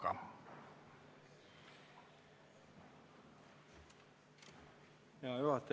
Hea juhataja!